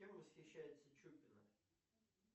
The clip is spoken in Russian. кем восхищается чупина